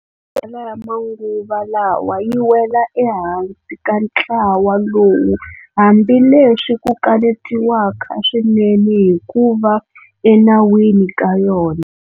Tala ya manguva lawa yi wela eka ntlawa lowu, hambileswi ku kanetiwaka swinene hi ku va enawini ka yona.